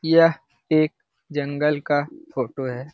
यह एक जंगल का फोटो है।